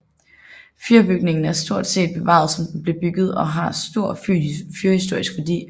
Fyrbygningen er stort set bevaret som den blev bygget og har stor fyrhistorisk værdi